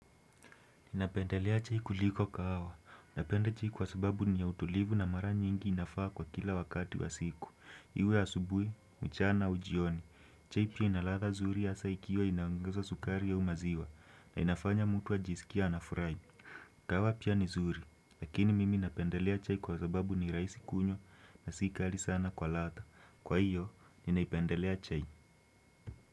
Napendelea chai kuliko kahawa. Napenda chai kwa sababu niya utulivu na mara nyingi inafaa kwa kila wakati wa siku. Iwe asubuhi, mchana, au jioni. Chai pia ina ladha nzuri hasa ikiwa inaongezwa sukari au maziwa na inafanya mutu ajiskie anafurahi. Kahawa pia ni nzuri. Lakini mimi napendelea chai kwa sababu ni rahisi kunywa na sikali sana kwa ladha. Kwa hiyo, ninaipendelea chai.